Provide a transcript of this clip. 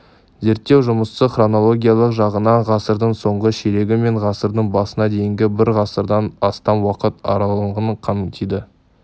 зерттеу жұмысы хронологиялық жағынан ғасырдың соңғы ширегі мен ғасырдың басына дейінгі бір ғасырдан астам уақыт аралығын қамтиды